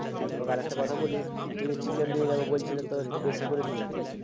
আর তোমাকে আর একটা কথা বলি তুমি Chiken নিয়ে যাবে বলছিলে কে একটু বেশি করে নিও ঠিক আছে